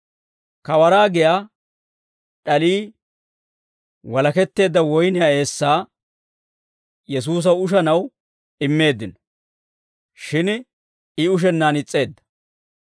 Kawaraa giyaa d'alii walaketteedda woyniyaa eessaa Yesuusaw ushanaw immeeddino; shin I ushennaan is's'eedda.